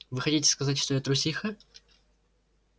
вы хотите сказать что я трусиха